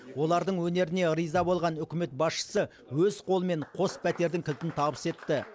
олардың өнеріне риза болған үкімет басшысы өз қолымен қос пәтердің кілтін табыс етті